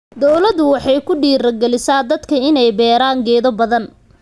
Dawladdu waxay ku dhiirigelisaa dadka inay beeraan geedo badan.